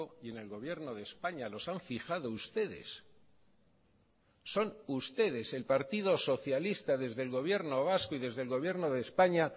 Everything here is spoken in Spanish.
y en el gobierno de españa los han fijado ustedes son ustedes el partido socialista desde el gobierno vasco y desde el gobierno de españa